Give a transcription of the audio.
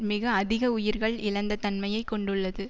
மிக அதிக உயிர்கள் இழந்த தன்மையை கொண்டுள்ளது